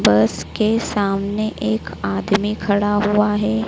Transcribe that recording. बस के सामने एक आदमी खड़ा हुआ है।